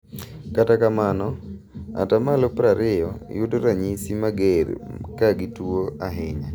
Kata kamano 20% yudo ranyisi mager kagi tuo ahinya.